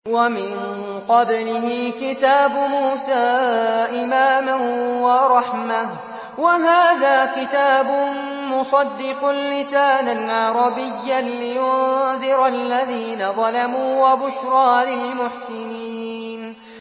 وَمِن قَبْلِهِ كِتَابُ مُوسَىٰ إِمَامًا وَرَحْمَةً ۚ وَهَٰذَا كِتَابٌ مُّصَدِّقٌ لِّسَانًا عَرَبِيًّا لِّيُنذِرَ الَّذِينَ ظَلَمُوا وَبُشْرَىٰ لِلْمُحْسِنِينَ